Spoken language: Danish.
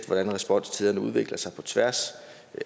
hvordan responstiderne udvikler sig på tværs